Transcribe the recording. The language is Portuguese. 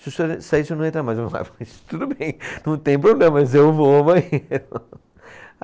Se o senhor sair, o senhor não entrar, mas tudo bem, não tem problema, mas eu vou ao banheiro.